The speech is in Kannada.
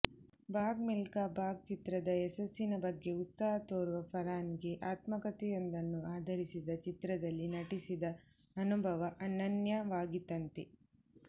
ಭಾಗ್ ಮಿಲ್ಕಾ ಭಾಗ್ ಚಿತ್ರದ ಯಶಸ್ಸಿನ ಬಗ್ಗೆ ಉತ್ಸಾಹ ತೋರುವ ಫರ್್ಹಾನ್ಗೆ ಆತ್ಮಕತೆಯೊಂದನ್ನು ಆಧರಿಸಿದ ಚಿತ್ರದಲ್ಲಿ ನಟಿಸಿದ ಅನುಭವ ಅನನ್ಯವಾಗಿತ್ತಂತೆ